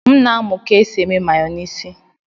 M ka na-amụ ka e si eme mayonisi